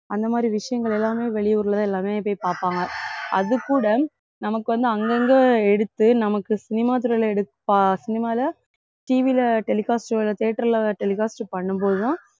அந்த மாதிரி விஷயங்கள் எல்லாமே வெளியூர்ல தான் எல்லாமே போய் பாப்பாங்க அது கூட நமக்கு வந்து அங்கங்க எடுத்து நமக்கு cinema துறையில எடுத்~ பா~ cinema ல TV ல telecast theatre ல telecast பண்ணும் போதுதான்